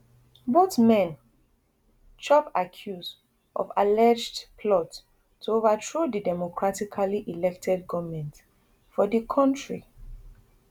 both men chop accuse of alleged plot to overthrow di democratically elected goment for di kontri